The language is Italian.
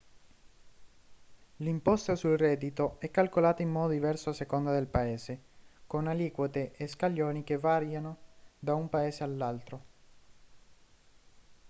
l'imposta sul reddito è calcolata in modo diverso a seconda del paese con aliquote e scaglioni che variano da un paese all'altro